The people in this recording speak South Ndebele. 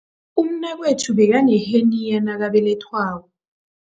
Umnakwethu bekaneheniya nakabelethwako.